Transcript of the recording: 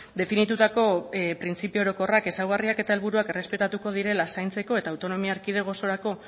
definitutako printzipio orokorrak ezaugarriak eta helburuak errespetatuko direla zaintzeko eta autonomia erkidego osorako